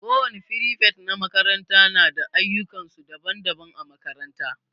Kowani firifet na makaranta na da ayukan su daban-daban a makaranta.